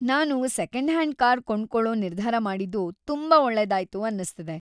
ನಾನು second hand car ಕೊಂಡ್ಕೊಳೋ ನಿರ್ಧಾರ ಮಾಡಿದ್ದು ತುಂಬಾ ಒಳ್ಳೇದಾಯ್ತು ಅನ್ಸ್ತಿದೆ.